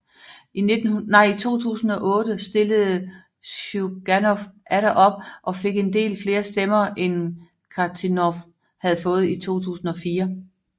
I 2008 stillede Sjuganov atter op og fik en del flere stemmer end Kharitonov havde fået i 2004